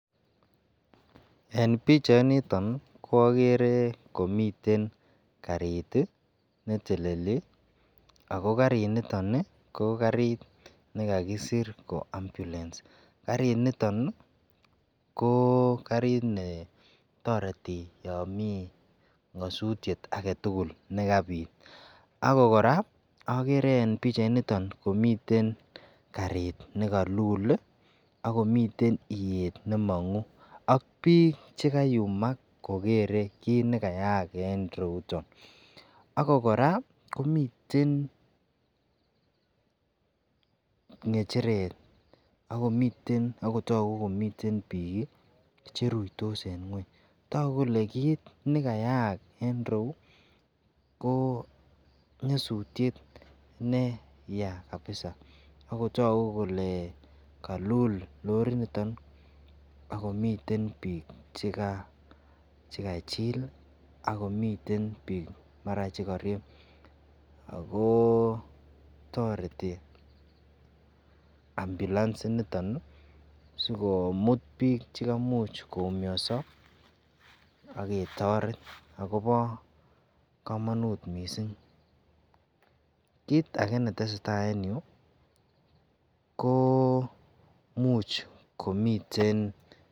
Eng pichainiton ii koagere komiten garit neteleli, ako garit nitoni ko garit nekakisir kole ambulance, garit nitoni ii ko karit ne toreti yon mi nyasutyet ake tukul nekabit, ako koraa agere eng pichainiton komiten karit nekalul akomiten iyer nemangu, ak bik chekayumak kogere kit nekayaak eng ireuton, ako koraa komiten ngecheret akomiten ,akotoku komiten bik cheruitos eng ngweny, toku kole kitnekayaak eng ireu ko nyasutyet neya kabisa akotaku kole kalul lorit nitoni ako miten bik chekachil akomiten bik maran cheraryeb, ako toreti ambulance initon sikomut bik chekamuch koumiaso aketoret akobo kamanut mising, kit ake netesetai eng yu ko much komiten...